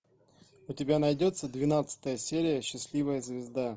у тебя найдется двенадцатая серия счастливая звезда